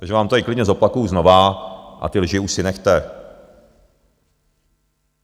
Takže vám to tady klidně zopakuju znovu a ty lži už si nechte.